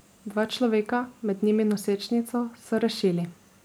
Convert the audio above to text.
Dva človeka, med njimi nosečnico, so rešili.